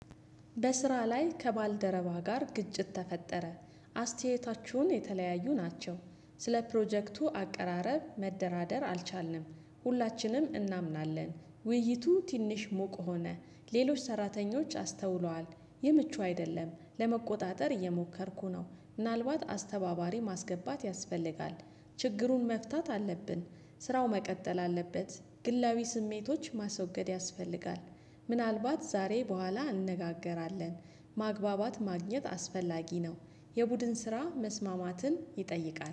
በስራ ላይ ከባልደረባ ጋር ግጭት ተፈጠረ። አስተያየታችሁን የተለያዩ ናቸው። ስለ ፕሮጀክቱ አቀራረብ መደራደር አልቻልንም። ሁላችንም እናምናለን ውይይቱ ትንሽ ሞቅ ሆነ። ሌሎች ሰራተኞች አስተውሏል። የምቹ አይደለም ለመቆጣጠር እየሞከርኩ ነው። ምናልባት አስተባባሪ ማስገባት ያስፈልጋል። ችግሩን መፍታት አለብን። ስራው መቀጠል አለበት። ግላዊ ስሜቶች ማስወገድ ያስፈልጋል። ምናልባት ዛሬ በኋላ እንነጋገራለን። ማግባባት ማግኘት አስፈላጊ ነው። የቡድን ስራ መስማማትን ይጠይቃል